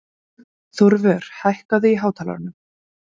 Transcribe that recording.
Þórvör, hækkaðu í hátalaranum.